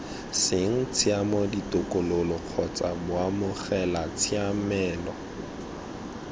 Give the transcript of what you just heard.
seng tshiamo ditokololo kgotsa baamogelatshiamelo